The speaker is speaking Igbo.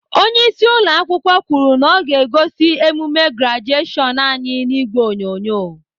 Onyeisi ụlọakwụkwọ kwuru na ọ ga-egosi emume grajeshion anyị n'ìgwè onyonyo.